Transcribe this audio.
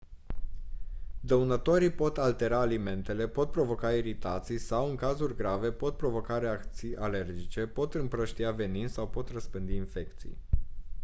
dăunătorii pot altera alimentele pot provoca iritații sau în cazuri grave pot provoca reacții alergice pot împrăștia venin sau pot răspândi infecții